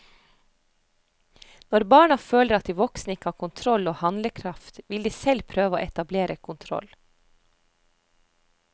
Når barna føler at de voksne ikke har kontroll og handlekraft, vil de selv prøve å etablere kontroll.